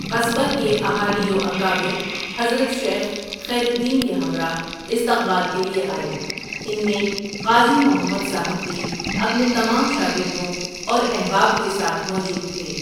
قصبہ کے اہالی واکابر حضرت شیخ خیر الدین کے ہمراہ استقبال کے لیے آئے ان میں قاضی محمد صاحب بھی اپنے تمام شاگردوں اور احباب کے ساتھ موجود تھے ۔